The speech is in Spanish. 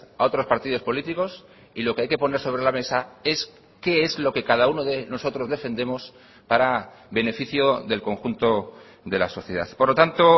a otros partidos políticos y lo que hay que poner sobre la mesa es que es lo que cada uno de nosotros defendemos para beneficio del conjunto de la sociedad por lo tanto